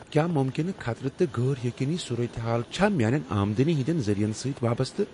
کیٛاہ ممکنہٕ خطرٕ تہٕ غٲر یقینی صورتحال چھ میانین آمدنی ہٕنٛدٮ۪ن ذٔریعن سۭتۍ وابستہٕ؟